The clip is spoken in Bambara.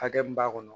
Hakɛ min b'a kɔnɔ